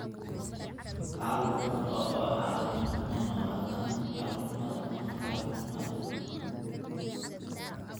Carruur badan oo qaba xaaladdan kuma noolaadaan carruurnimada ama carruurnimada.